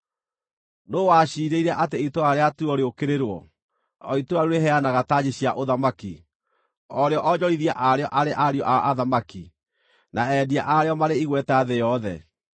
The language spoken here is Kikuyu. Nũũ waciirĩire atĩ itũũra rĩa Turo rĩũkĩrĩrwo, o itũũra rĩu rĩheanaga tanji cia ũthamaki, o rĩo onjorithia a rĩo arĩ ariũ a athamaki, na endia a rĩo marĩ igweta thĩ yothe?